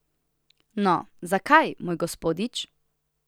No, zakaj, moj gospodič?